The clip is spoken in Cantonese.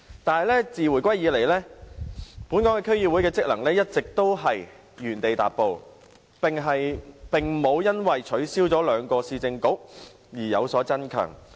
可是，自回歸以來，本港區議會的職能一直原地踏步，並無因為取消了兩個市政局而有所增強。